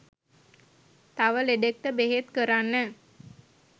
තව ලෙඩෙක්ට බෙහෙත් කරන්න